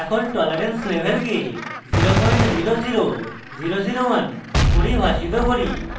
এখন tolerance level 000001 পরিভাষিত করি